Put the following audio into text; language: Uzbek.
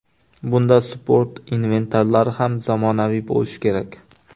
Bunda sport inventarlari ham zamonaviy bo‘lishi kerak.